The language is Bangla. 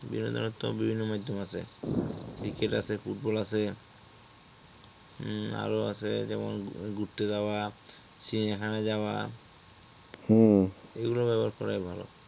বিনোদনের তো বিভিন্ন মাধ্যম আছে cricket আছে football আছে উম আরো আছে যেমন ঘুরতে যাওয়া চিড়িয়াখানা যাওয়া এই গুলো ব্যবহার করাই ভালো